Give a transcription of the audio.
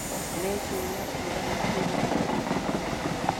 ni ciumia cigana ciri mweri wa Machi?